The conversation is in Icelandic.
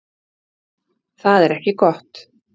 Það er ekki gott